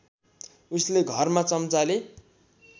उसले घरमा चम्चाले